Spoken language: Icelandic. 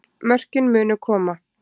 Mörkin munu koma